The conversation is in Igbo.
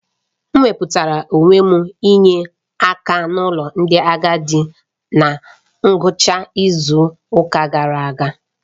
M wepụtara onwe m inye akan'ụlọ ndị agadi na ngwụcha izu ụka gara aga.